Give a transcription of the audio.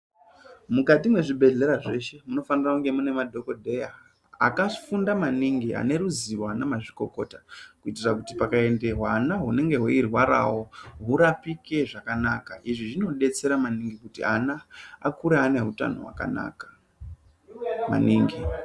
Mukati mwezvibhedhlera zveshe munofanira kunge mune madhokodheya akafunda maningi ane ruziwo ana mazvikokota kuitira kuti pakaende hwana hunenge hweirwarawo hurapike zvakanaka. Izvi zvinodetsera maningi kuti ana akure ane hutano hwakanaka maningi.